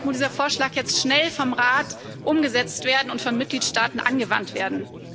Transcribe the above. Deshalb muss dieser Vorschlag jetzt schnell vom Rat umgesetzt werden und von den Mitgliedstaaten angewandt werden.